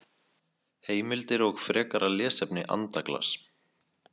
Heimildir og frekara lesefni Andaglas.